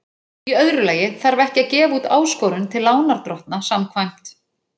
Í öðru lagi þarf ekki að gefa út áskorun til lánardrottna samkvæmt